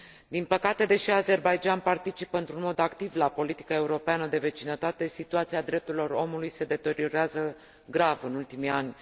Din păcate, deși Azerbaidjan participă într un mod activ la politica europeană de vecinătate, situația drepturilor omului se deteriorează grav în ultimii ani.